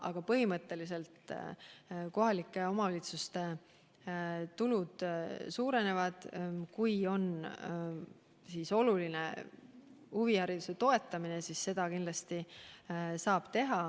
Aga põhimõtteliselt kohalike omavalitsuste tulu suureneb, ja kui huvihariduse toetamine on nende jaoks oluline, siis seda nad kindlasti saavad teha.